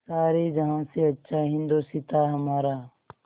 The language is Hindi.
सारे जहाँ से अच्छा हिन्दोसिताँ हमारा